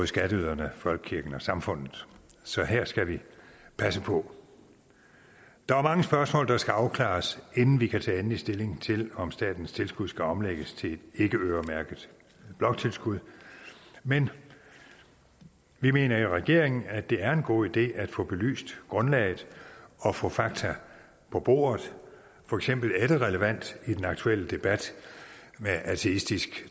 skatteyderne folkekirken og samfundet så her skal vi passe på der er mange spørgsmål der skal afklares inden vi kan tage endelig stilling til om statens tilskud skal omlægges til et ikkeøremærket bloktilskud men vi mener i regeringen at det er en god idé at få belyst grundlaget og få fakta på bordet for eksempel er det relevant i den aktuelle debat med ateistisk